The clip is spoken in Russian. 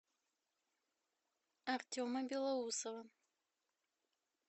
артема белоусова